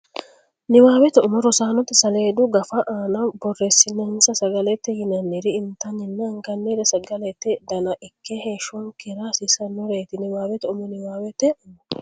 Niwaawete umo rosaanote saleedu Gafa aana borreessinsa Sagalete yinanniri intanninna angannire Sagalete Dana ikke heeshshonkera hasiisannoreeti Niwaawete umo Niwaawete umo.